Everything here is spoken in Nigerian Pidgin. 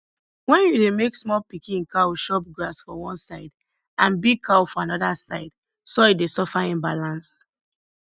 when you dey make small pikin cow chop grass for one side and big cow for another side soil dey suffer imbalance